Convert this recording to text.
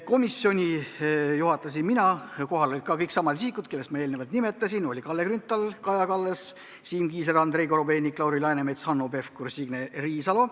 Komisjoni istungit juhatasin mina, kohal olid ka kõik samad isikud, keda ma eelnevalt nimetasin: Kalle Grünthal, Kaja Kallas, Siim Kiisler, Andrei Korobeinik, Lauri Läänemets, Hanno Pevkur, Signe Riisalo.